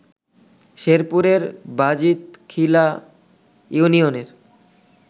শেরপুরের বাজিত খিলা ইউনিয়নের